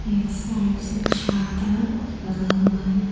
एक साइड से छातालगा हुआ है।